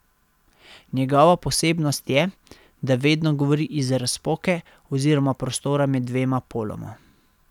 Njegova posebnost je, da vedno govori iz razpoke oziroma prostora med dvema poloma.